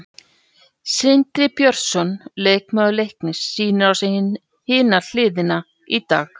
Sindri Björnsson, leikmaður Leiknis sýnir á sér hina hliðina í dag.